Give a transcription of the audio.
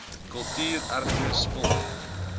kultuur erfenis sport